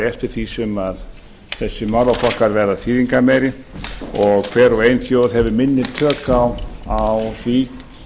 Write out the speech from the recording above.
eftir því sem þessir málaflokkar verða þýðingarmeiri og hver og ein þjóð hefur minni tök á því